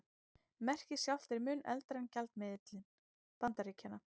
Merkið sjálft er mun eldra en gjaldmiðill Bandaríkjanna.